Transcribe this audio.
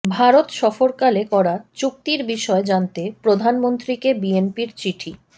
ভারত সফরকালে করা চুক্তির বিষয়ে জানতে প্রধানমন্ত্রীকে বিএনপির চিঠি